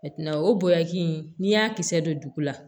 o bonyaki in n'i y'a kisɛ don dugu la